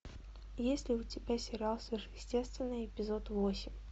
есть ли у тебя сериал сверхъестественное эпизод восемь